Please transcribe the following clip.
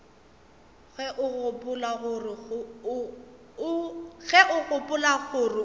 ge o gopola gore o